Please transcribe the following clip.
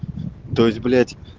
то есть блять